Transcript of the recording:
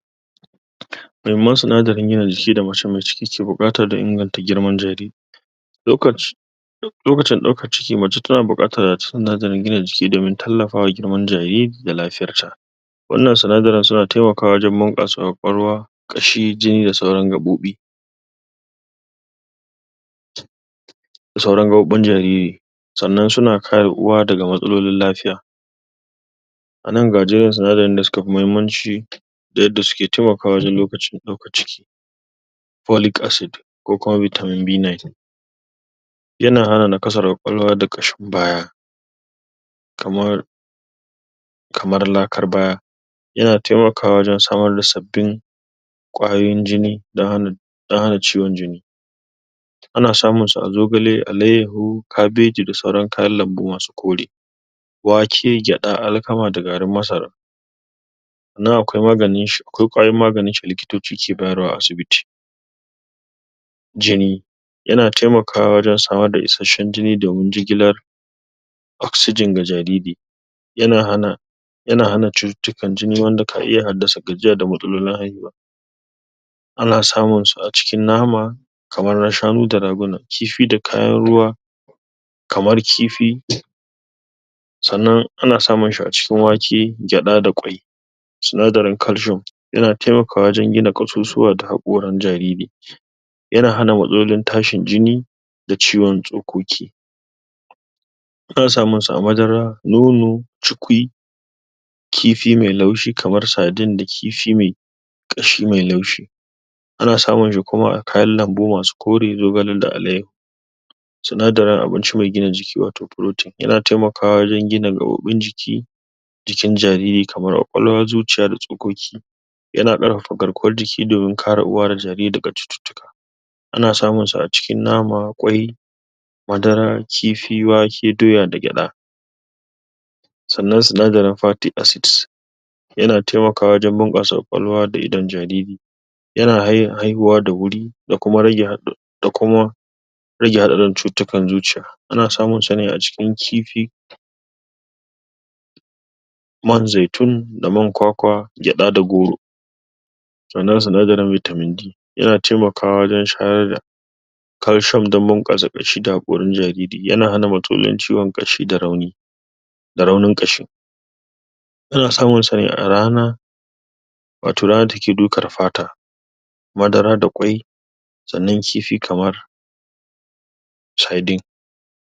Mahimman sinadaran gina jiki da mace me ciki ke buƙata dan ingata girman jariri Lokaci, lokacin daukan ciki mace ta na bukata a cikin ginin gina da jiki domin tallafa da girmar jariri da lafiyar ta wannan sanadaran ta na taimakawa domin kwakwalwa shi jini da sauran raɓoɓi da sauran gaboban jariri sannan, su na kaya uwa da matsalolin lafiya a nan ga jerin su, na da suka fi mahimanci a nan ga jya da suke taimakawa wajen lokacin daukan ciki folic acid ko kuma vitamin b9 ya na hana na kasa kwakwalwa da kashin baya kamar kamar lakar baya ya na taimakwa wajen samar da sabobin kwayoyin jini da hanu da hana jiwon jini a na samun sa a zogale, alaiyaho, kabeji da sauran kayan lambu masu kori, wake, geda, alkama da garin masara. nan akwai kwaya magani da likitocci ke bayar a asibiti jini ya na taimakawa wajen sawar da ishashen jini domin jigilar oxygen da jariri, ya na hanna ya na hanna citutukkar jini wanda ka iya da gajiya da matsalolin haihuwa a na samun sa a cikin nama kamar na shanu da raguna, kifi da kayan ruwa. kamar kifi sannan a na samun sa a cikin wake, geda da kwai. Sunnadari calcium, ya na taimakawa wajen gina kasussuwa da hakoran jariri. Ya na hana matsalolin tashin jini da ciwon tsoƙoƙi a na samun su a madara, nono, cikwi, kifi mai laushi kamar saidin da kifi mai kashi mai laushi, a na samun shi kuma a kayan lambu masu kori zogale da alayaho,? da abinci mai gina jiki wato protein, ya na taimaka yan gina rabobin jiki jikin jariri kaman kwakwalon zuciya da tsoƙoƙi, ya na karafa karkuwar jiki domin kara uwa da jariri da kacuccuka. a na samun su a cikin nama, wai, madara, kifi, wake, doya da geda. sanan sinnagarin Fattic acid, ya taimakawa? kwakwalwa da idon jariri. Ya na hayan haihuwa da wuri da kuma ragewa da kuma ragewa da dan ciccutukkan zuciya, a na samun sa ne a cikin kifi mai zetu da mai kwakwa, geda da goro. Tsanan sanagaran vitamin d, ya na taimakawa wajen shayar da karshen dambu kasa kashi da hakorin jariri, ya na hana matolian ciwon kashi da rauni, da raunin kashi, a na samun sa a rana. wato rana ta ke duka a fata, madara da kwai, tsanan kifi kamar saidin.